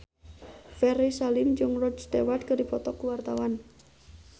Ferry Salim jeung Rod Stewart keur dipoto ku wartawan